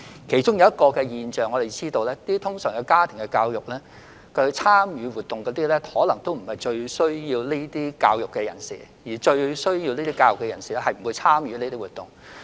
我們發現一種現象，就是家庭教育活動的參加者通常並非最需要教育的人士，但最需要教育的人士卻不會參與這些活動。